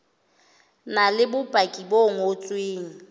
na le bopaki bo ngotsweng